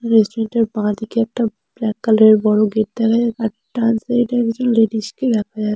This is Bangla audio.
রেস্টুরেন্ট এর বাঁ দিকে একটা ব্ল্যাক কালার এর বড়ো গেট দেখা যায় ডান সাইডে একজন একজন লেডিস কে দেখা যাচ্ছে।